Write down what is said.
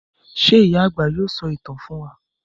Ṣé ìyá-àgbà yóò sọ ìtàn fún wa?